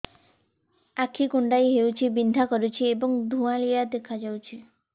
ଆଖି କୁଂଡେଇ ହେଉଛି ବିଂଧା କରୁଛି ଏବଂ ଧୁଁଆଳିଆ ଦେଖାଯାଉଛି